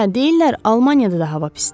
Hə, deyirlər Almaniyada da hava pisdir.